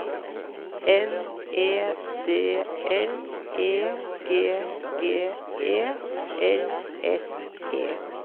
N E D L E G G E L S E